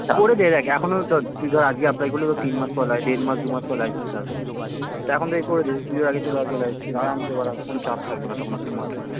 করে দে আগে এখনো তুই ধর আজকে apply করলে তোর তিনমাস পর প্রায় দেড় মাস দু মাস পরে license আসবে তা এখন থেকেই করে দে পূজোর আগে আগেই চলে আসবে license আরামসে বাড়া কোনো চাপ থাকবেনা তখন একটা মাথায়